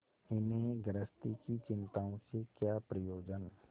इन्हें गृहस्थी की चिंताओं से क्या प्रयोजन